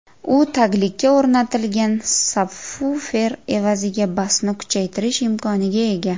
U taglikka o‘rnatilgan sabvufer evaziga basni kuchaytirish imkoniga ega.